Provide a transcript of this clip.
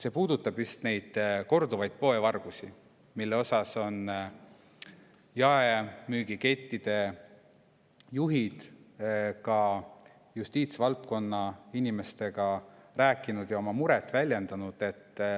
See puudutab just korduvaid poevargusi, mille kohta on jaemüügikettide juhid ka justiitsvaldkonna inimestele rääkinud ja oma muret väljendanud.